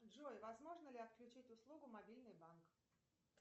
джой возможно ли отключить услугу мобильный банк